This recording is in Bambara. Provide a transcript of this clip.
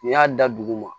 N'i y'a da dugu ma